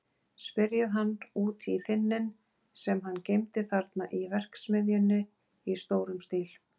Spyrjið hann út í þynninn sem hann geymdi þarna í verksmiðjunni í stórum stíl.